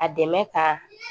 A dɛmɛ ka